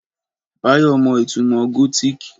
Báyọ̀ mọ ìtumò gótìkì